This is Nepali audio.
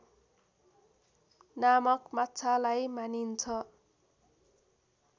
नामक माछालाई मानिन्छ